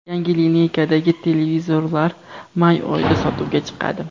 Yangi lineykadagi televizorlar may oyida sotuvga chiqadi.